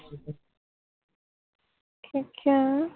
ਠੀਕਆ